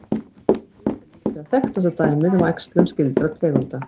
Múldýr er líklega þekktasta dæmið um æxlun skyldra tegunda.